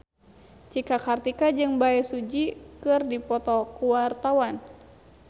Cika Kartika jeung Bae Su Ji keur dipoto ku wartawan